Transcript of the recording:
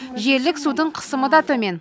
желілік судың қысымы да төмен